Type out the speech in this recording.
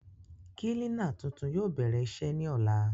Kílínà tuntun yóò bèrè iṣé ní ọ̀la